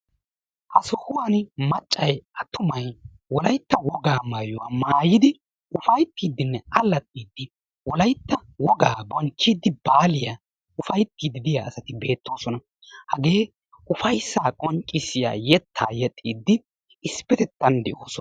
Ha sohuwani maccayi attumayi wolaytta wogaa maayuwa maayidi ufayttiiddinne allaxxiiddi wolaytta wogaa bonchchiiddi baaliya ufayttiiddi diya asati beettoosona. Hagee ufayssaa qonccissiya yettaa yexxiiddi issippetettan de"oosona.